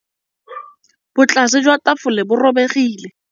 Botlasê jwa tafole bo robegile.